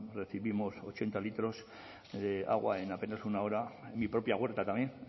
recibimos ochenta litros de agua en apenas una hora en mi propia huerta también